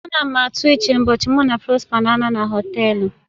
A na m atụ uche ụbọchị mụ na Prosper na-anọ na họtelu